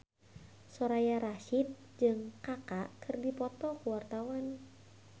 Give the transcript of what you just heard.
Soraya Rasyid jeung Kaka keur dipoto ku wartawan